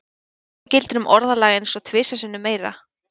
Hið sama gildir um orðalag eins og tvisvar sinnum meira.